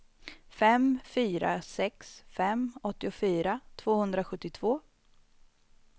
fem fyra sex fem åttiofyra tvåhundrasjuttiotvå